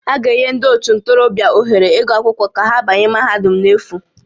A ga-enye ndị ótù ntorobịa ohere ịgụ akwụkwọ ka ha banye mahadum n'efu